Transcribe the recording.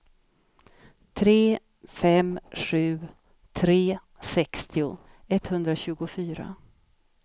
tre fem sju tre sextio etthundratjugofyra